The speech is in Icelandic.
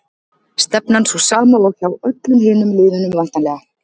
Stefnan sú sama og hjá öllum hinum liðunum væntanlega?